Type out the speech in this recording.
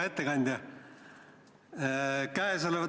Hea ettekandja!